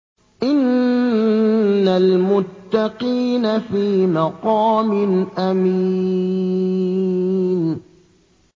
إِنَّ الْمُتَّقِينَ فِي مَقَامٍ أَمِينٍ